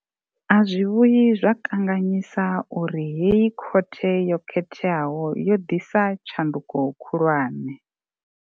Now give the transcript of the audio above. A zwi vhuyi zwa kanganyisa uri heyi khothe yo khetheaho yo ḓisa tshanduko khulwane.